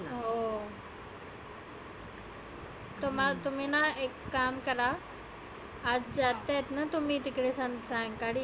हो तर तुम्ही ना एक काम करा आज जास्त आहे ना तुम्ही सायंकाळी?